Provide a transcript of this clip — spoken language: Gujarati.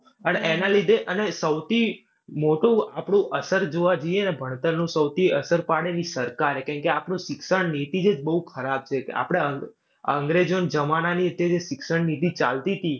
અને એના લીધે અન સૌથી મોટું આપડું અસર જોવા જોઈએ ને ભણતરનું સૌથી અસર પાડે ને ઈ સરકારે, કારણકે આપડી શિક્ષણ નીતિ જ બૌ ખરાબ છે. આપડે અં આપડે અંગ્રેજોના જમાનાની જે શિક્ષણ નીતિ જે ચાલતીતી